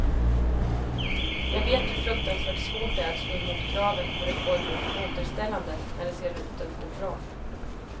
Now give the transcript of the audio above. Jag vet hur fruktansvärt svårt det är att stå emot kraven på reformer och återställanden när det ser ut att gå bra.